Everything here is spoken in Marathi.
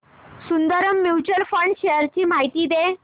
सुंदरम म्यूचुअल फंड शेअर्स ची माहिती दे